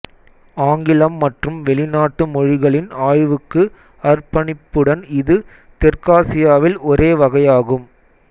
ஆங்கிலம் மற்றும் வெளிநாட்டு மொழிகளின் ஆய்வுக்கு அர்ப்பணிப்புடன் இது தெற்காசியாவில் ஒரே வகையாகும்